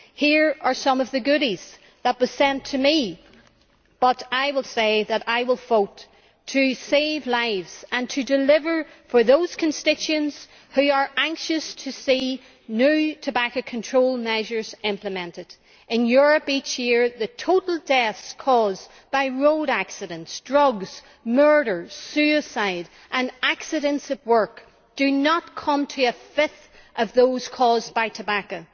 Here are some of the goodies that were sent to me but I will say that I will vote to save lives and to deliver for those constituents who are anxious to see new tobacco control measures implemented. In Europe each year, the total deaths caused by road accidents, drugs, murders, suicide and accidents at work do not come to a fifth of those caused by tobacco